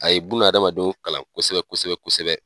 A ye buna hadamadenw kalan kosɛbɛ kosɛbɛ kosɛbɛ.